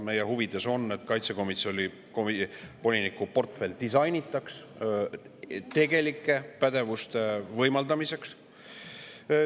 Meie huvides on, et kaitsevoliniku portfell disainitakse tegelike pädevuste võimaldamiseks.